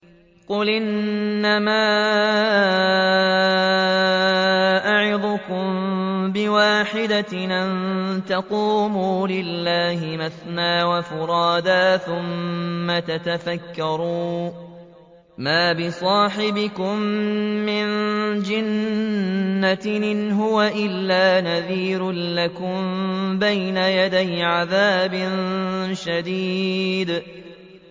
۞ قُلْ إِنَّمَا أَعِظُكُم بِوَاحِدَةٍ ۖ أَن تَقُومُوا لِلَّهِ مَثْنَىٰ وَفُرَادَىٰ ثُمَّ تَتَفَكَّرُوا ۚ مَا بِصَاحِبِكُم مِّن جِنَّةٍ ۚ إِنْ هُوَ إِلَّا نَذِيرٌ لَّكُم بَيْنَ يَدَيْ عَذَابٍ شَدِيدٍ